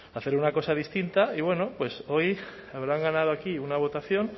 hacer una cosa distinta y bueno pues hoy habrán ganado aquí una votación